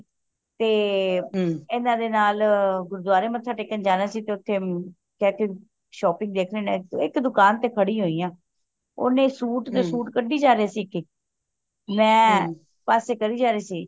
ਤੇ ਇਹਨਾਂ ਦੇ ਨਾਲ ਗੁਰੂਦੁਆਰੇ ਮੱਥਾ ਟੇਕਣ ਜਾਣਾ ਸੀ ਤੇ ਉਥੇ shopping ਦੇਖ ਲੈਣੇ ਆ ਤੇ ਇੱਕ ਦੁਕਾਨ ਤੇ ਖੜੀ ਹੋਇ ਆ ਓਹਨੇ ਸੂਟ ਤੇ ਸੂਟ ਕੱਢੀ ਜਾ ਰਹੇ ਸੀ ਇੱਕ ਇੱਕ ਮੈਂ ਪਾਸੇ ਕਰਿ ਜਾ ਰਹੀ ਸੀ